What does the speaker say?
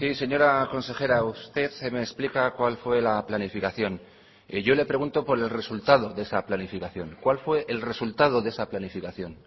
señora consejera usted me explica cuál fue la planificación y yo le pregunto por el resultado de esa planificación cuál fue el resultado de esa planificación